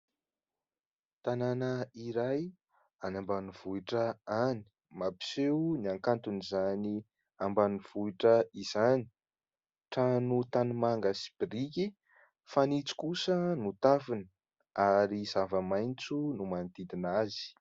Tanàna iray any ambanivohitra any mampiseho ny hakanton'izany ambanivohitra izany. Trano tanimanga sy biriky, fanitso kosa no tafony ary zava-maitso no manodidina azy.